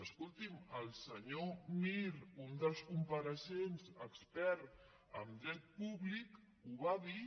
escolti’m el senyor mir un dels compareixents expert en dret públic ho va dir